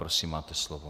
Prosím, máte slovo.